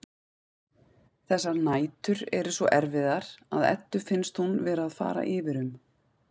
Þessar nætur eru svo erfiðar að Eddu finnst hún vera að fara yfir um.